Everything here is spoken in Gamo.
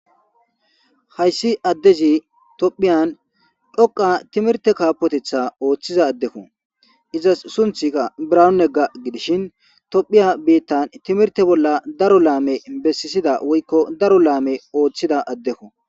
hayssi addezi tophiyan dhoqa timirte kaapotetha ooththiza addekko izas sunthika branu negga gidishin tophiya biittan timirte bolla daro laame bessisida woykko daro laame ooththida addekko